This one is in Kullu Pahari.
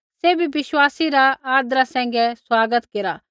सैभी विश्वासी रा आदरा सैंघै स्वागत केरा